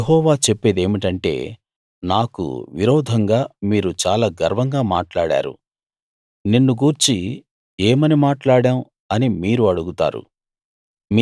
యెహోవా చెప్పేదేమిటంటే నాకు విరోధంగా మీరు చాలా గర్వంగా మాట్లాడారు నిన్ను గూర్చి ఏమని మాట్లాడాం అని మీరు అడుగుతారు